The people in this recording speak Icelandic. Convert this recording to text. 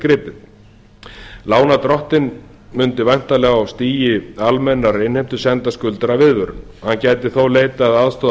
gripið lánardrottinn mundi væntanlega á þessu stigi almennrar innheimtu senda skuldara viðvörun hann gæti þó leitað aðstoðar